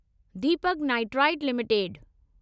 Deepak Nitrite limited